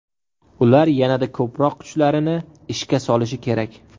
Ular yanada ko‘proq kuchlarini ishga solishi kerak.